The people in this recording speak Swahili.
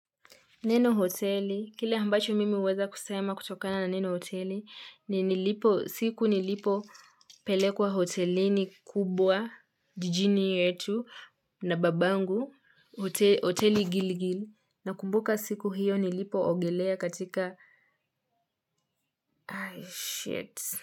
Neno hoteli, kile ambacho mimi uweza kusema kutokana na neno hoteli, ni siku nilipopelekwa hotelini kubwa, jijini yetu, na babangu, hoteli gilgil, nakumbuka siku hiyo nilipoogelea katika,